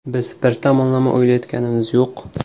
Biz bir tomonlama o‘ylayotganimiz yo‘q.